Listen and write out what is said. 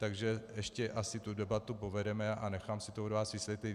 Takže ještě asi tu debatu povedeme a nechám si to od vás vysvětlit.